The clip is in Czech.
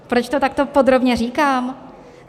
Proč to takto podrobně říkám?